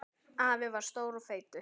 Afi var stór og feitur.